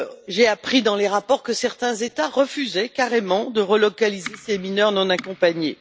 J'ai appris dans des rapports que certains États refusaient carrément de relocaliser ces mineurs non accompagnés.